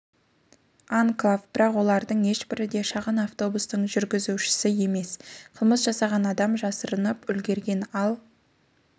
анклав бірақ олардың ешбірі де шағын автобустың жүргізушісі емес қылмыс жасаған адам жасырынып үлгерген ал